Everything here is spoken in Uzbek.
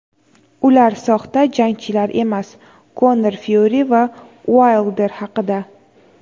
Ular soxta jangchilar emas – Konor Fyuri va Uaylder haqida.